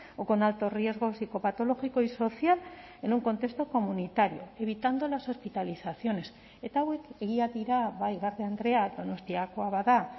o con alto riesgo psicopatológico y social en un contexto comunitario evitando las hospitalizaciones eta hauek egia dira bai garde andrea donostiakoa bada